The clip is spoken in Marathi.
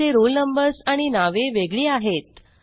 त्यांचे रोल नंबर्स आणि नावे वेगळी आहेत